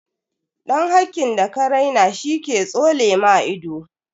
Dan hakkin da ka raina she ke tsole maka ido.